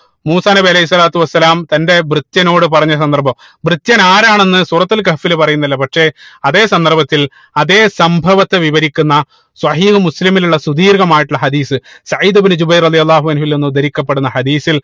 മൂസാ നബി അലൈഹി സ്വലാത്തു വസ്സലാം തന്റെ ഭൃത്യനോട് പറഞ്ഞ സന്ദർഭം ഭൃത്യൻ ആരാണ് എന്ന് സൂറത്തുൽ കഹ്ഫിൽ പറയുന്നില്ല പക്ഷേ അതേ സന്ദർഭത്തിൽ അതേ സംഭവത്തെ വിവരിക്കുന്ന സ്വഹീഹുൽ മുസ്ലിമിൽ ഉള്ള സുധീർഘമായിട്ടുള്ള ഹദീസ് സഈദ് ഇബിനു ജുബൈർ റളിയള്ളാഹു അൻഹുവിൽ നിന്ന് ഉദ്ധരിക്കപ്പെടുന്ന ഹദീസിൽ